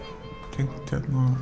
tengt